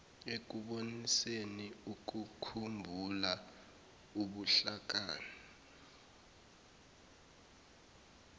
ekuboniseni ukukhumbula ubuhlakani